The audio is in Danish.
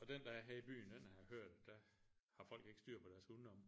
Og den der er her i byen den har jeg hørt der har folk ikke styr på deres hunde oppe